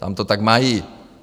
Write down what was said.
Tam to tak mají.